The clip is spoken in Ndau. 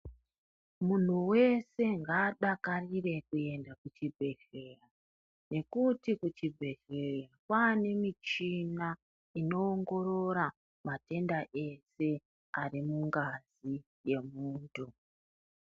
Munhu wese ngaadakarire kuenda kuchibhedhleya, ngekuti kuchibhedhleya kwaane michina inoongorora matenda ese, ari mungazi yemuntu.